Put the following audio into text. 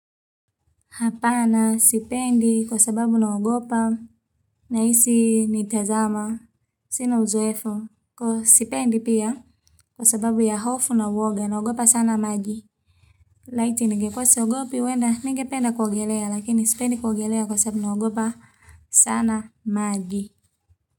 Hapana sipendi kwa sababu naogopa nahisi nitazama. Sina uzoefu. Sipendi pia kwa sababu ya hofu na woga naogopa sana maji. Laiti ningekuwa siogopi huenda ningependa kuogelea lakini sipendi kuogelea kwa sababu naogopa sana maji.